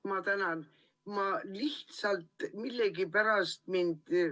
Ma tänan!